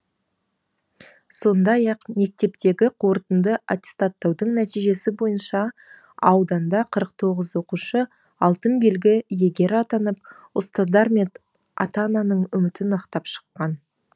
сондай ақ мектептегі қорытынды аттестаттаудың нәтижесі бойынша ауданда қырық тоғыз оқушы алтын белгі иегері атанып ұстаздар мен ата ананың үмітін ақтап шыққан